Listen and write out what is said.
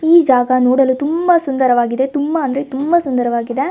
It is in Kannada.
ಈ ಜಾಗ ನೋಡಲು ತುಂಬಾ ಸುಂದರವಾಗಿದೆ ತುಂಬಾ ಅಂದ್ರೆ ತುಂಬಾ ಸುಂದರವಾಗಿದೆ.